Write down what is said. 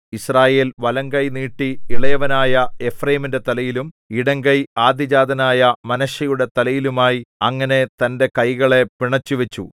യിസ്രായേൽ വലംകൈ നീട്ടി ഇളയവനായ എഫ്രയീമിന്റെ തലയിലും ഇടംകൈ ആദ്യജാതനായ മനശ്ശെയുടെ തലയിലുമായി അങ്ങനെ തന്റെ കൈകളെ പിണച്ചുവച്ചു